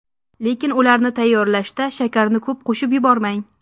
Lekin ularni tayyorlashda shakarni ko‘p qo‘shib yubormang.